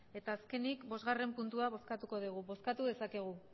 eta azkenik bostgarrena puntua bozkatuko dugu bozkatu dezakegu